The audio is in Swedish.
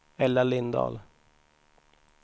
Ella Lindahl